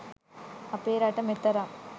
අපේ රට මෙතරම්